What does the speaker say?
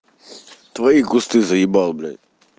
твои кусты заебал блядь